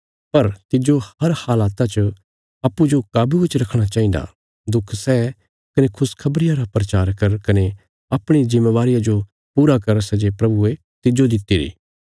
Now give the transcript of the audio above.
पर तिज्जो हर हालता च अप्पूँजो काबुये च रखणा चाहिन्दा दुख सै कने खुशखबरिया रा प्रचार कर कने अपणी जिम्मेवारिया जो पूरा कर सै जे प्रभुये तिज्जो दित्तिरी